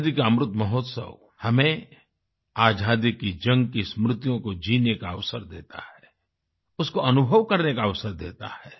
आजादी का अमृत महोत्सव हमें आजादी की जंग की स्मृतियों को जीने का अवसर देता है उसको अनुभव करने का अवसर देता है